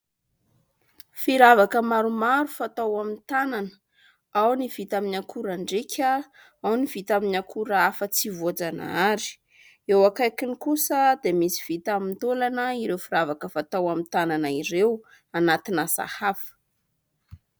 Firavaka maromaro fatao amin'ny tanana. Ao ny vita amin'ny akora andrika, ao ny vita amin'ny akora hafa tsy voajanahary, eo akaikiny kosa dia misy vita amin'ny taolana ireo firavaka fatao amin'ny tanana ireo, anatin'ny sahafa.